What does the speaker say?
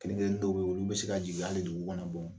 Kelen kelennin dɔw bɛ yen olu u bɛ se ka jigin hali dugu kɔnɔ